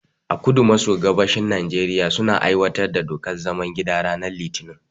A kudu maso gabashin Nijeriya, suna aiwatar da dokar zaman gida ranar litinin.